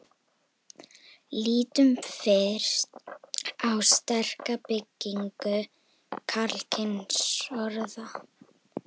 lítum fyrst á sterka beygingu karlkynsorða